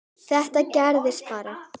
Þetta gerðist bara?!